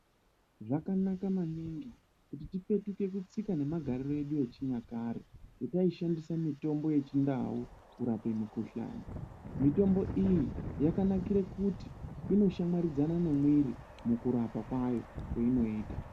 Zvakanaka maningi kuti tipetuke kutsika nemagariro edu yechinyakare pataishandisa mitombo yechindau kurapa mikuhlani mitombo iyi yakanakira kuti inoshamwaridzana nemwiri mukurapa kwacho kwainoita.